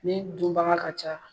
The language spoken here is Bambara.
Min dunbaga ka ca